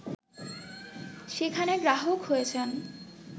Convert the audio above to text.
সেখানে গ্রাহক হয়েছেন